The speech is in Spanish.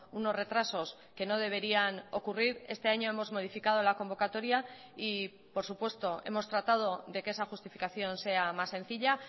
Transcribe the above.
unos retrasos que no deberían ocurrir este año hemos modificado la convocatoria y por supuesto hemos tratado de que esa justificación sea más sencilla